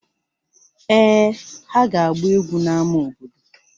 Èè, ha ga-agba egwu n'ámá obodo.